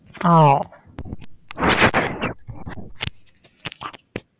ആഹ്